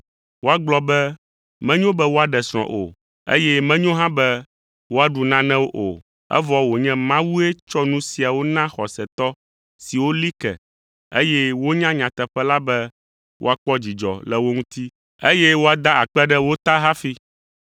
Woagblɔ be menyo be woaɖe srɔ̃ o, eye menyo hã be woaɖu nanewo o, evɔ wònye Mawue tsɔ nu siawo na xɔsetɔ siwo li ke, eye wonya nyateƒe la be woakpɔ dzidzɔ le wo ŋuti, eye woada akpe ɖe wo ta hafi.